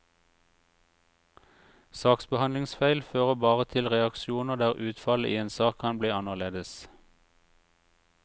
Saksbehandlingsfeil fører bare til reaksjoner der utfallet i en sak kan bli annerledes.